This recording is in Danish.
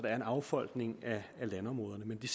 er en affolkning af landområderne men vi